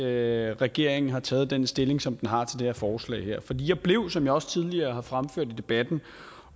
at regeringen har taget den stilling som den har til det her forslag for jeg blev som jeg også tidligere har fremført i debatten